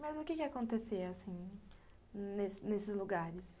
Mas o que acontecia, assim, nesses lugares?